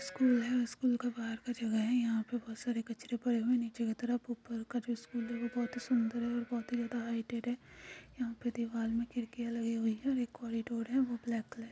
school है school के बाहर का जगह है यहाँ पर बहुत सारे कचरा पड़े हुए नीचे की तरफ ऊपर का जो स्कूल है बहुत ही सुंदर है और बहुत हाईलाइट है यहाँ पे दीवार में खिड़कियां लगी हुई है एक कॉरिडोर है जो ब्लैक कलर --